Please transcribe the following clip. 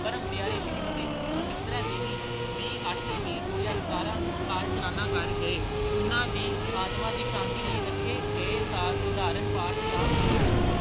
ਪਰਮ ਪਿਆਰੇ ਸ਼੍ਰੀਮਤੀ ਅਹ ਸੁਮਿਤਰਾ ਦੇਵੀ ਵੀਹ ਅੱਠ ਵੀਹ ਦੋ ਹਜ਼ਾਰ ਸਤਾਰਾਂ ਨੂੰ ਆਕਾਲ ਚਲਾਣਾ ਕਰ ਗਏ ਉਹਨਾਂ ਦੀ ਆਤਮਾਂ ਦੀ ਸ਼ਾਤੀ ਲਈ ਰੱਖੇ ਗਏ ਸ ਅਹ ਸਧਾਰਨ ਪਾਠ ਦਾ ਭੋਗ